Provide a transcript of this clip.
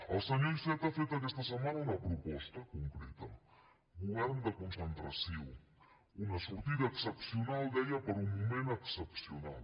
el senyor iceta ha fet aquesta setmana una proposta concreta govern de concentració una sortida excepcional deia per a un moment excepcional